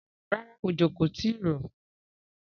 Rárá, òjò kò tìí rọ̀.